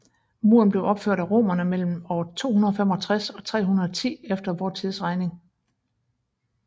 Muren blev opført af romerne mellem år 265 og 310 efter vor tidsregning